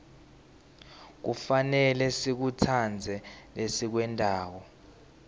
kufanele sikutsandze lesikwentako